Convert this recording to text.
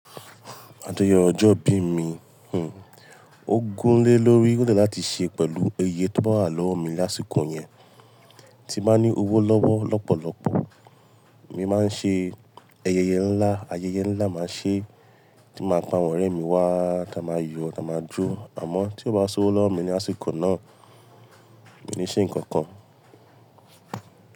Ayeye ọjọ́ bí mi, hn, ó gún lé lórí. Ó de láti ṣe pẹ̀lú eeye tó ba wà lọ́wọ́ mi lásìkò yẹn. Tí n bá ní owó lọ́wọ́ lọ́pọ̀lọpọ̀, emi máa ń ṣe ayẹyẹ ńlá, ayẹyẹ ńlá máa ṣe, tí máa pa àwọn ọ̀rẹ́ mi wá, táa máa yọ, táa máa jó. Àmọ́ tí ó bá sowo lọ́wọ́ mi ní àsìkò náà, mi ò ní ṣe nǹkan kan.